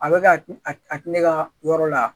A bɛ ka a ti ne ka yɔrɔ la